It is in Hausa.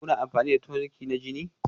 Kuna amfani da toniki na jini?